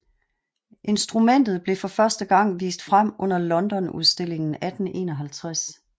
Instrumentet blev for første gang vist frem under Londonudstillingen 1851